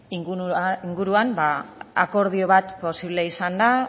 inguruan akordio bat posible izan da